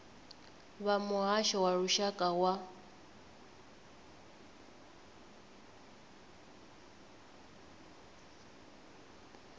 vha muhasho wa lushaka wa